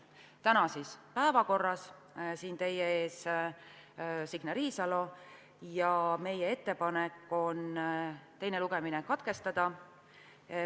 Eelnõu on siis tänases päevakorras, teie ees on Signe Riisalo ja meie ettepanek on teine lugemine katkestada.